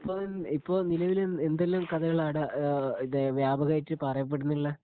ഇപ്പൊ ഇപ്പൊ നിലവിലെ എന്തു എന്തെല്ലാം കഥകളാണ് ആടേ ആ തേ വ്യാപകമായിട്ട് പറയപെടുന്നുള്ളെ